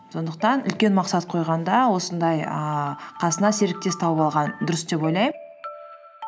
сондықтан үлкен мақсат қойғанда осындай ііі қасына серіктес тауып алған дұрыс деп ойлаймын